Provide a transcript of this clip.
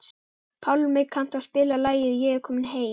Pálmi, kanntu að spila lagið „Ég er kominn heim“?